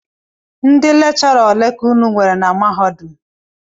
Ndị lekchọra ole ka unu nwere na mahadum?